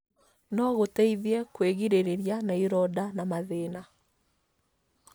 no gũteithie kwĩgirĩrĩra na ironda na mathĩna.